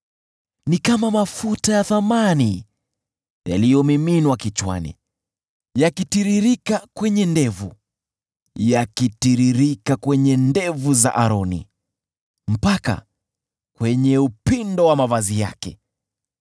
Ni kama mafuta ya thamani yaliyomiminwa kichwani, yakitiririka kwenye ndevu, yakitiririka kwenye ndevu za Aroni, mpaka kwenye upindo wa mavazi yake.